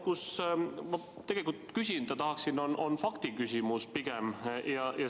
Aga see, mida ma tegelikult küsida tahan, on pigem faktiküsimus.